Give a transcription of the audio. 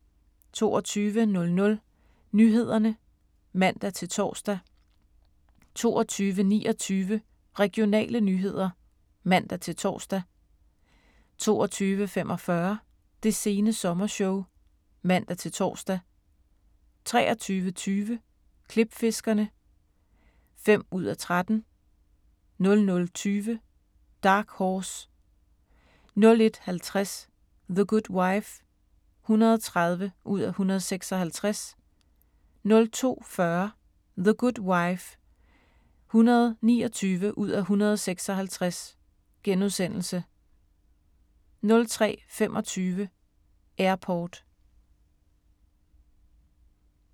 22:00: Nyhederne (man-tor) 22:29: Regionale nyheder (man-tor) 22:45: Det sene sommershow (man-tor) 23:20: Klipfiskerne (5:13) 00:20: Dark Horse 01:50: The Good Wife (130:156) 02:40: The Good Wife (129:156)* 03:25: Airport